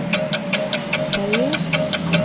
Feios